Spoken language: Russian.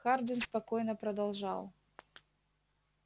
хардин спокойно продолжал